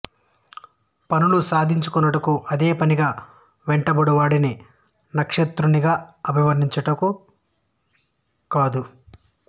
పనులు సాధించుకొనుటకు అదే పనిగా వెంటబడు వాడిని నక్షత్రకునిగా అభివర్ణించుట కద్దు